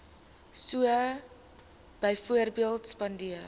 so byvoorbeeld spandeer